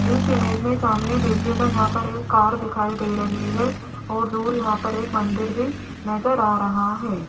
इस इमेज में सामने देखिएगा यहां पर एक कार दिखाई दे रही है और दूर यहां पर एक मंदिर भी नजर आ रहा है।